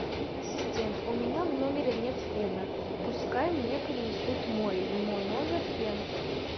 ассистент у меня в номере нет фена пускай мне принесут мой в мой номер фен